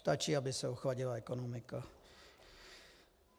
Stačí, aby se ochladila ekonomika.